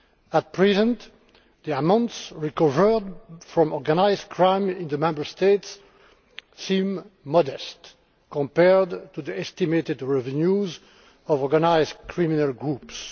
At present, the amounts recovered from organised crime in the Member States seem modest compared to the estimated revenues of organised criminal groups.